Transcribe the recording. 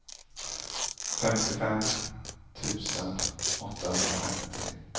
femtiofem tusen åttahundrafemtio